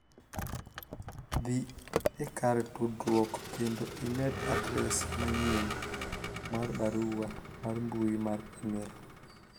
dhi e kar tudruok kendo imed adres manyien mar barua mar mbui mar email